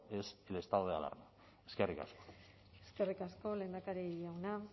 es el estado de alarma eskerrik asko eskerrik asko lehendakari jauna